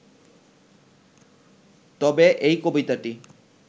তবে এই কবিতাটি